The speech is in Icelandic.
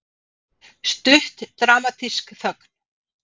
Stutt dramatísk þögn.